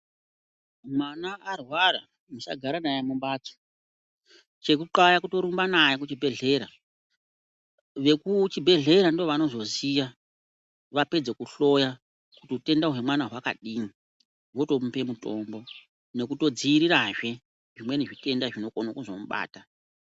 Mwana arwara, musagara naye mumbatso. Chekuxaya kutorumba naye kuchibhedhlera, vekuchibhedhleya ndovanozoziya vapedze kuhloya, kuti utenda hwemwana hwakadini, votomupe mutombo, nekutodziirirazve, zvimweni zvitenda zvinokone kuzomubata.